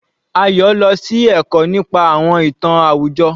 Ayo lọ sí ẹ̀kọ́ nípa àwọn ìtàn àwùjọ.